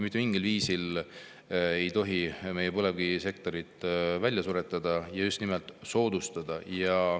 Mitte mingil viisil ei tohi meie põlevkivisektorit välja suretada, just nimelt soodustada.